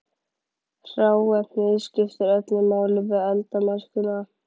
Hráefnið skiptir öllu máli við eldamennskuna.